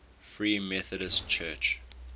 free methodist church